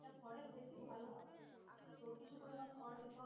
খড়ের বেশি ভালো হয় তো কিছু পরিমাণ খড় নিতে হলে,